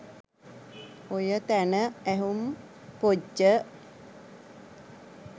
ඔය තැන ඇහුම් පොජ්ජ